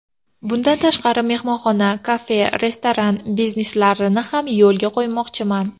Bundan tashqari mehmonxona, kafe, restoran bizneslarini ham yo‘lga qo‘ymoqchiman.